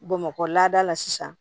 Bamakɔ lada la sisan